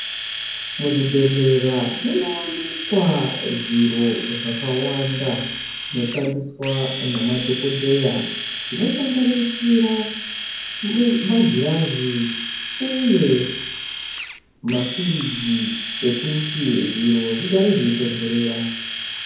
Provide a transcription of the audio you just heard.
Muzvibhedhlera munowanikwa zviro zvakawanda zvinoshandiswa namadhokodheya zvinosanganisira magirazi uye mafirigi ekuti zviro zvigare zveitondorera.